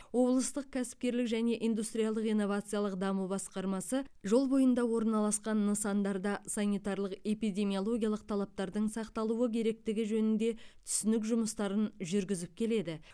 облыстық кәсіпкерлік және индустриалдық инновациялық даму басқармасы жол бойында орналасқан нысандарда санитарлық эпидемиологиялық талаптардың сақталуы керектігі жөнінде түсінік жұмыстарын жүргізіп келеді